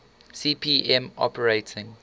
cp m operating